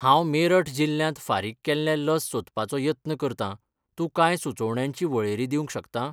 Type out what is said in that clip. हांव मेरठ जिल्ल्यांत फुारीक केल्लें लस सोदपाचो यत्न करतां, तूं कांय सुचोवण्यांची वळेरी दिवंक शकता?